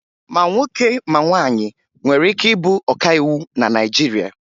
Ma nwoke ma nwaanyị nwere ike ịbụ ọkàiwu na Naịjirịa